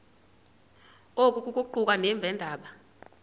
oku kuquka nabeendaba